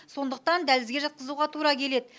сондықтан дәлізге жатқызуға тура келеді